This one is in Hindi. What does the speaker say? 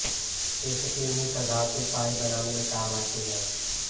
इसकी मिश्र धातु पाईप बनाने में काम आती हैं